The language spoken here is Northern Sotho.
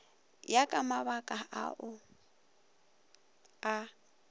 ya ka mabaka ao a